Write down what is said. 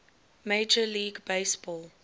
major league baseball